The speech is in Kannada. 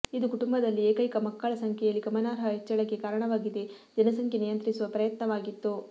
ಇದು ಕುಟುಂಬದಲ್ಲಿ ಏಕೈಕ ಮಕ್ಕಳ ಸಂಖ್ಯೆಯಲ್ಲಿ ಗಮನಾರ್ಹ ಹೆಚ್ಚಳಕ್ಕೆ ಕಾರಣವಾಗಿದೆ ಜನಸಂಖ್ಯೆ ನಿಯಂತ್ರಿಸುವ ಪ್ರಯತ್ನವಾಗಿತ್ತು